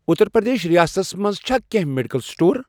اُتر پرٛدیش ریاستس مَنٛز چھا کینٛہہ میڈیکل سٹور؟